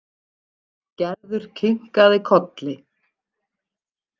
Gerður kinkaði kolli.